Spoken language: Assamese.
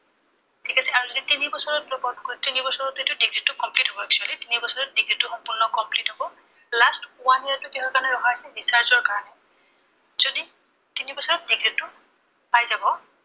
আৰু যদি তিনিবছৰত drop out কৰে, তিনিবছৰত এইটো degree টো complete হয়, actually তিনিবছৰত degree টো সম্পূৰ্ণ complete হব। যত one year টো কিহৰ কাৰনে ৰখা হৈছে, research ৰ কাৰনে। যদি তিনিবছৰত degree টো পাই যাব, ঠিক আছে।